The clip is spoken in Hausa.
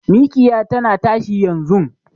Mikiya tana tashi yanzun